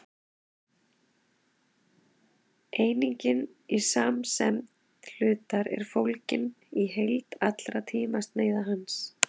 einingin í samsemd hlutar er fólgin í heild allra tímasneiða hans